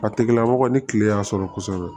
A tigilamɔgɔ ni kile y'a sɔrɔ kosɛbɛ